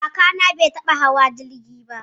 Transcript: Kakana bai taɓa hawa jirgi ba.